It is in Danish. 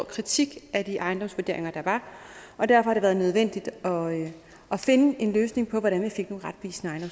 kritik af de ejendomsvurderinger der var og derfor var det nødvendigt at finde en løsning på hvordan vi fik nogle retvisende